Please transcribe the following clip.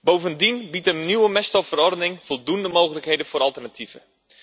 Bovendien biedt een nieuwe meststoffenverordening voldoende mogelijkheden voor alternatieven.